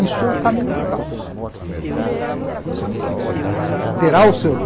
Isso é o caminho para o caos.